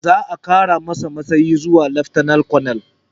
Za a ƙara masa matsayi zuwa laftanal kanal